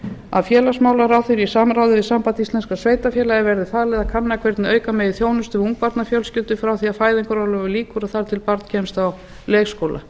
að félagsmálaráðherra í samráði við samband íslenskra sveitarfélaga verði falið að kanna hvernig auka megi þjónustu við ungbarnafjölskyldur frá því að fæðingarorlofi lýkur og þar til barn kemst á leikskóla